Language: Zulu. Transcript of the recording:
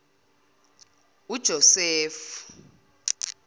ujosefu